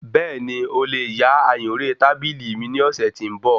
Bẹ́ẹ̀ni,o lè yá ayùnré tábìlì mi ní ọ̀sẹ́ tí ń bọ̀.